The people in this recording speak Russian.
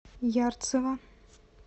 ярцево